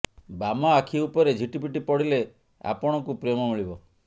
ବାମ ଆଖି ଉପରେ ଝିଟିପିଟି ପଡ଼ିଲେ ଆପଣଙ୍କୁ ପ୍ରେମ ମିଳିବ